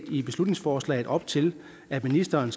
i beslutningsforslaget op til at ministeren